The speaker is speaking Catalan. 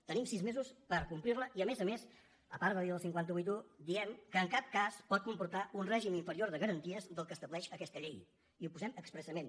tenim sis mesos per complir la i a més a més a part de dir el cinc cents i vuitanta un diem que en cap cas pot comportar un règim inferior de garanties del que estableix aquesta llei i ho posem expressament